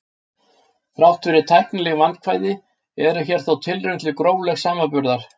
þrátt fyrir tæknileg vandkvæði er hér þó tilraun til gróflegs samanburðar